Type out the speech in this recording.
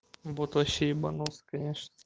бот вообще ебанулся конечно